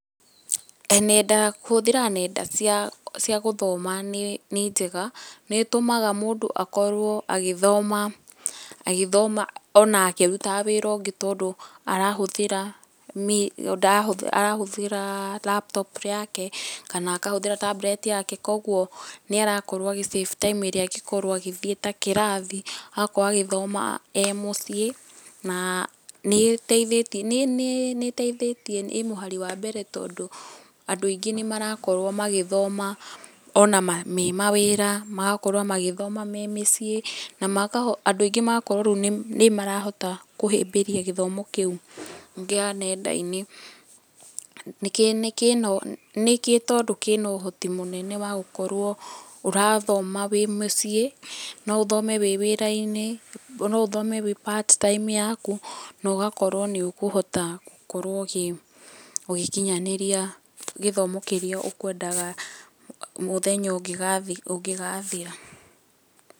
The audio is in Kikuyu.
Nenda, kũhũthĩra nenda cia gũthoma, nĩ njega, nĩ ĩtũmaga mũndũ akorwo agĩthoma, agĩthoma ona akĩrutaga wĩra ũngĩ tondũ arahũthĩra, arahũthĩra Laptop yake, kana akahũthĩra Tablet yake koguo nĩ ara save time ĩrĩa angĩkorwo agĩthiĩ ta kĩrathi, agakorwo agĩthoma e mũciĩ, na nĩ ĩteithĩtie, nĩ ĩteithĩtie, ĩ mũhari wa mbere tondũ, andũ aingĩ nĩ marakorwo magĩthoma ona me mawĩra, magakorwo magĩthoma me mĩciĩ, na makahota andũ aingĩ magakorwo rĩu nĩ marahota kũhĩmbĩria gĩthomo kĩu kĩa nenda-inĩ kĩ no, nĩ tondũ kĩna kĩna ũhoti mũnene wa gũkorwo ũrathoma wĩ mũciĩ, no ũthome wĩ wĩra-inĩ, no ũthome wĩ Part-time yaku, na ũgakorwo nĩ ũkũhota gũkorwo ũgĩkinyanĩria gĩthomo kĩrĩa ũkwendaga mũthenya ũngĩgathira.